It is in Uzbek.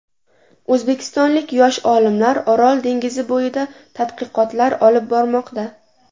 O‘zbekistonlik yosh olimlar Orol dengizi bo‘yida tadqiqotlar olib bormoqda.